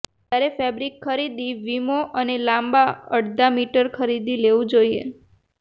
જ્યારે ફેબ્રિક ખરીદી વીમો અને લાંબા અડધા મીટર ખરીદી લેવું જોઇએ